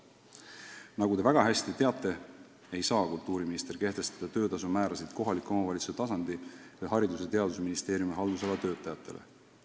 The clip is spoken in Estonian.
Nagu te väga hästi teate, ei saa kultuuriminister kehtestada töötasu määrasid kohaliku omavalitsuse tasandi ning Haridus- ja Teadusministeeriumi haldusala töötajatele.